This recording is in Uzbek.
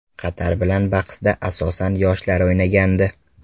Qatar bilan bahsda, asosan, yoshlar o‘ynagandi.